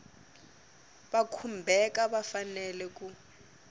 va khumbhaka va fanele ku